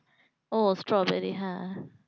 ও strawberry হ্যাঁ